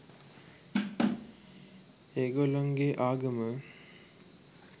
ඒගොල්ලන්ගෙ ආගම